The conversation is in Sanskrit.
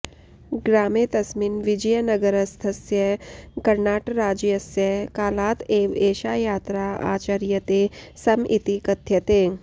ग्रामे तस्मिन् विजयनगरस्थस्य कर्णाटराज्यस्य कालात् एव एषा यात्रा आचर्यते स्म इति कथ्यते